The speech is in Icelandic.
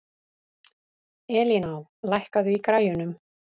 Elíná, lækkaðu í græjunum.